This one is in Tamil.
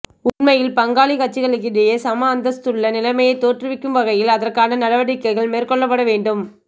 உண்மையில் பங்காளிக் கட்சிகளுக்கிடையில் சம அந்தஸ்துள்ள நிலமையை தோற்றுவிக்கும் வகையில் அதற்கான நடவடிக்கைகள் மேற்கொள்ளப்பட வேண்டும்